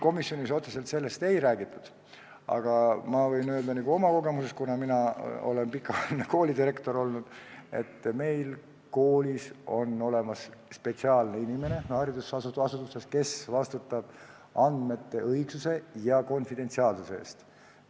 Komisjonis otseselt sellest ei räägitud, aga ma võin öelda oma kogemusest, kuna ma olen pikka aega koolidirektor olnud, et koolis, haridusasutuses, on olemas spetsiaalne inimene, kes vastutab andmete õigsuse ja konfidentsiaalsuse eest.